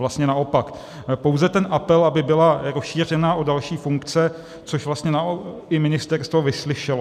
Vlastně naopak, pouze ten apel, aby byla rozšířena o další funkce, což vlastně i ministerstvo vyslyšelo.